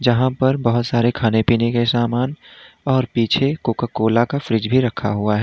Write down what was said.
यहां पर बहुत सारे खाने पीने के समान और पीछे कोका कोला का फ्रिज भी रखा हुआ है।